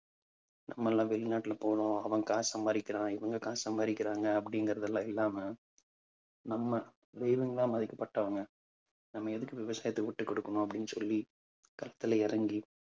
நம்ம எல்லாம் வெளிநாட்டுல போறோம் அவன் காசு சம்பாதிக்கிறான் இவங்க காசு சம்பாதிக்கிறாங்க அப்படிங்கறதெல்லாம் இல்லாம நம்ம தெய்வங்களா மதிக்கப்பட்டவங்க நம்ம எதுக்கு விவசாயத்தை விட்டுக் கொடுக்கணும் அப்பிடின்னு சொல்லி களத்திலே இறங்கி